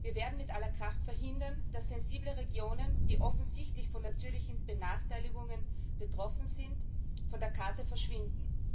Wir werden mit aller Kraft verhindern, dass sensible Regionen, die offensichtlich von natürlichen Benachteiligungen betroffen sind, von der Karte verschwinden.